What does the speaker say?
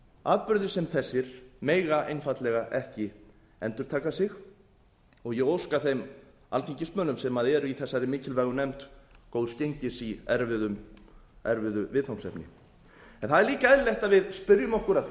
atburðir sem þessir mega einfaldlega ekki endurtaka sig og ég óska þeim alþingismönnum sem eru í þessari mikilvægu nefnd góðs gengis í erfiðu viðfangsefni það er líka eðlilegt að við spyrjum okkur að því